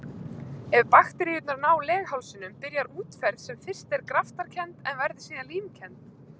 Ef bakteríurnar ná leghálsinum byrjar útferð sem fyrst er graftarkennd en verður síðan límkennd.